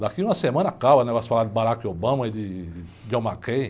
Daqui uma semana acaba o negócio de falar de Barack Obama e de John McCain.